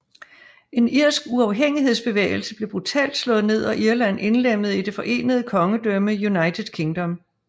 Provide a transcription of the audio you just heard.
En irsk uafhængighedsbevægelse blev brutalt slået ned og Irland indlemmet i det forenede kongedømme United Kingdom